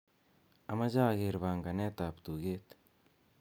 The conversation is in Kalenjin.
amoje ageer panganet ab tuget